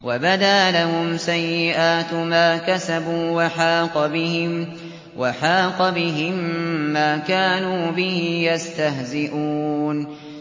وَبَدَا لَهُمْ سَيِّئَاتُ مَا كَسَبُوا وَحَاقَ بِهِم مَّا كَانُوا بِهِ يَسْتَهْزِئُونَ